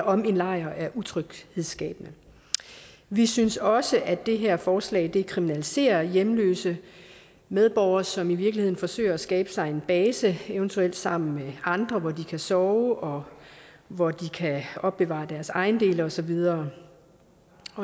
om en lejr er utryghedsskabende vi synes også at det her forslag kriminaliserer hjemløse medborgere som i virkeligheden forsøger at skabe sig en base eventuelt sammen med andre hvor de kan sove og hvor de kan opbevare deres ejendele og så videre